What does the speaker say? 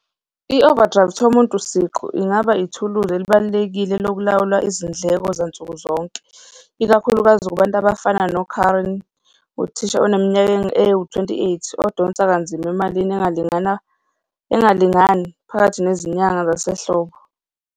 I-overdraft-i yomuntu siqu ingaba ithuluzi elibalulekile lokulawula izindleko zansukuzonke, ikakhulukazi kubantu abafana no-Karen, uthisha oneminyaka ewu-twenty eight, odonsa kanzima emalini engalingana, engalingani phakathi nezinyanga zasehlobo.